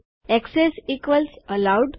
access equals allowed